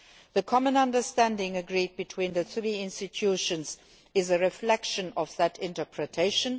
The Common Understanding agreed between the three institutions is a reflection of that interpretation.